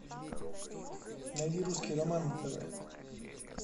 найди русский роман на тв